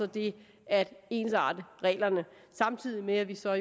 det at ensarte reglerne samtidig med at vi så